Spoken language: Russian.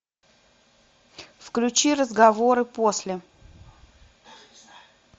включи разговоры после